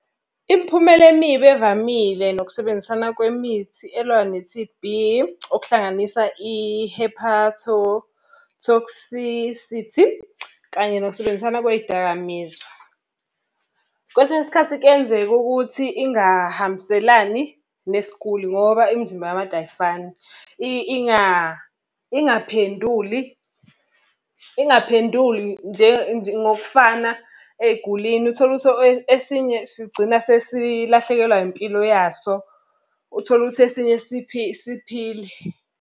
Imiphumela emibi evamile nokusebenzisana kwemithi elwa ne-T_B okuhlanganisa i-hepatotoxicity kanye nokusebenzisana kwey'dakamizwa. Kwesinye isikhathi kuyenzeka ukuthi ingahambiselani nesiguli ngoba imizimba yabantu ayifani. Ingaphenduli ingaphenduli nje ngokufana ey'gulini. Uthole ukuthi esinye sigcina sesilahlekelwa impilo yaso, uthole ukuthi esinye siphile.